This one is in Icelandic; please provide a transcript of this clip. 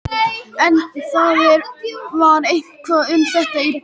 En það var eitthvað um þetta í blöðunum.